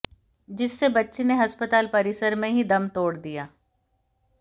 जिससे बच्चे ने अस्पताल परिसर में ही दम तोड़ दिया